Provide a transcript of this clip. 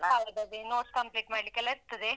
ಹೌದು ಅದೇ notes complete ಮಾಡ್ಲಿಕ್ಕೆಲ್ಲ ಇರ್ತದೆ.